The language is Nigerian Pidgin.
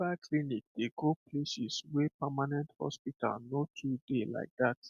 mobile clinic dey go places wey permanent hospital no too dey like dat